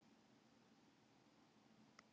Tíundi hver fullorðinn of feitur